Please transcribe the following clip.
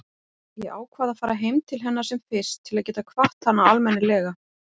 Ég ákvað að fara heim til hennar sem fyrst til að geta kvatt hana almennilega.